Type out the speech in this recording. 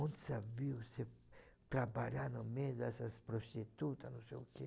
Onde se viu você trabalhar no meio dessas prostitutas, não sei o quê.